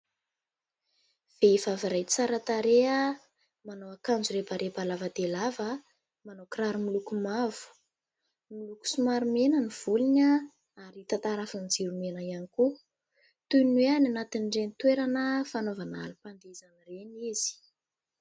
Vehivavy iray tsara tarehy. Manao akanjo rebareba lava dia lava. Manao kiraro miloko mavo. Miloko somary mena ny volony ary tarafin'ny jiro mena ihany koa toy ny hoe any anatin'ireny toerana fanaovana alim-pandihizana ireny izy.